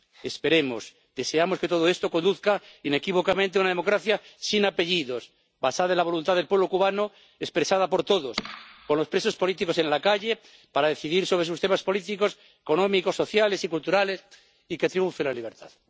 Esperamos, deseamos que todo esto conduzca inequívocamente a una democracia sin apellidos, basada en la voluntad del pueblo cubano expresada por todos, por los presos políticos y en la calle, para decidir sobre sus temas políticos, económicos, sociales y culturales, y que triunfe la libertad.